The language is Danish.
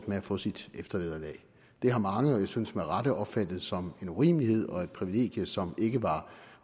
med at få sit eftervederlag det har mange og jeg synes med rette opfattet som en urimelighed og et privilegium som ikke var